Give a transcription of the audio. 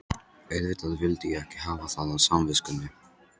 Auðvitað vildi ég ekki hafa það á samviskunni.